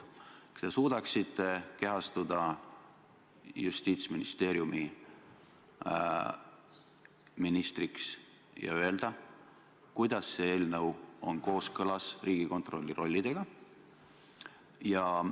Kas te suudaksite kehastuda Justiitsministeeriumi ministriks ja öelda, kuidas see eelnõu on kooskõlas Riigikontrolli rollidega?